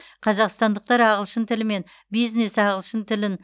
қазақстандықтар ағылшын тілі мен бизнес ағылшын тілін